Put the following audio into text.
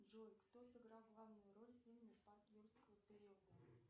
джой кто сыграл главную роль в фильме парк юрского периода